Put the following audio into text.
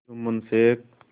Jumman Sheikh